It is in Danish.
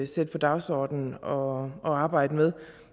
sætte på dagsordenen og og arbejde med